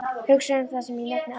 Hugsaðu um það sem ég nefndi áðan.